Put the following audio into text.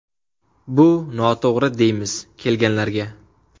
Bu noto‘g‘ri deymiz kelganlarga.